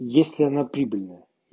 если она прибыльная